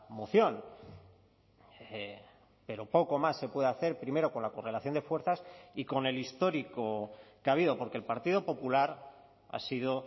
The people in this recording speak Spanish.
moción pero poco más se puede hacer primero con la correlación de fuerzas y con el histórico que ha habido porque el partido popular ha sido